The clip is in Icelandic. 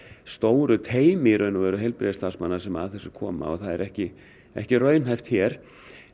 stóru teymi heilbrigðisstarfsmanna sem að þessu koma og það er ekki ekki raunhæft hér